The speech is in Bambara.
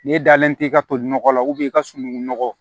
N'e dalen tɛ i ka toli nɔgɔ la i ka sununkun nɔgɔ